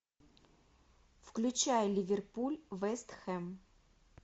включай ливерпуль вест хэм